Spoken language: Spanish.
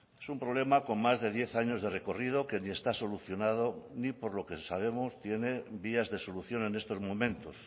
es un problema con más de diez años de recorrido que ni está solucionado ni por lo que sabemos tiene vías de solución en estos momentos